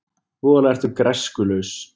Voðalega ertu græskulaus.